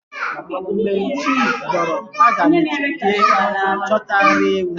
Mgbe chi bọrọ aga m eje chọta nri ewu.